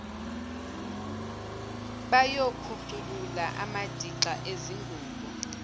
bayokhuculula amadixa ezingubo